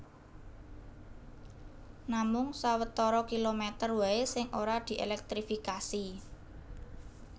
Namung sawetara kilomèter waé sing ora dièlèktrifikasi